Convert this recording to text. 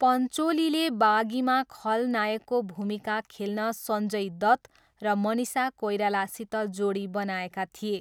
पन्चोलीले बागीमा खलनायकको भूमिका खेल्न सञ्जय दत्त र मनिषा कोइरालासित जोडी बनेका थिए।